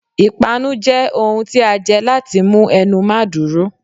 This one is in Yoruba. ìpánú jẹ ohún tí a jẹ latí mú ẹnu mà dúrò